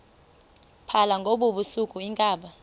phala ngobusuku iinkabi